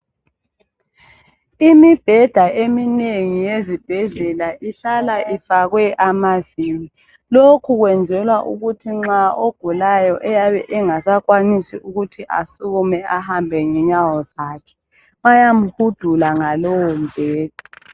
Imibheda eminengi yezibhedlela ihlala ifakwe amavili. Lokhu kwenzelwa ukuthi nxa ogulayo eyabe engasakwanisi ukuthi asukume ahambe ngenyawo zakhe bayamuhudula ngalowo mubheda.